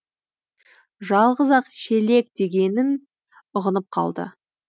жалғыз ақ шелек дегенін ұғынып қалды